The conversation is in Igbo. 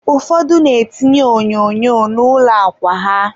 ụfọdụ na-etinye onyonyo na ụlọ akwa ha.